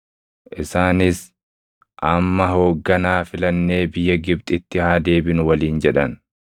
Isaanis, “Amma hoogganaa filannee biyya Gibxitti haa deebinu” waliin jedhan.